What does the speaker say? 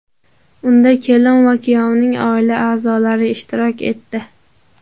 Unda kelin va kuyovning oila a’zolari ishtirok etdi.